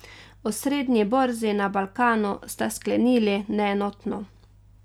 Osrednji borzi na Balkanu sta sklenili neenotno.